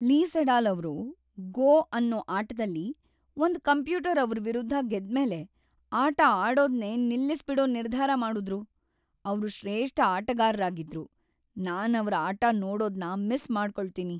ಲೀ Sedol ಅವ್ರು "Go" ಅನ್ನೋ ಆಟದಲ್ಲಿ ಒಂದ್ ಕಂಪ್ಯೂಟರ್ ಅವ್ರ್ ವಿರುದ್ಧ ಗೆದ್ಮೇಲೆ ಆಟ ಆಡೋದ್ನೇ ನಿಲ್ಲಿಸ್ಬಿಡೋ ನಿರ್ಧಾರ ಮಾಡುದ್ರು. ಅವ್ರು ಶ್ರೇಷ್ಠ ಆಟಗಾರ್ರಾಗಿದ್ರು, ನಾನವ್ರ್ ಆಟ ನೋಡೋದ್ನ ಮಿಸ್ ಮಾಡ್ಕೊಳ್ತೀನಿ.